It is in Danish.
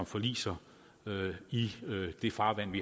forliser i i farvandet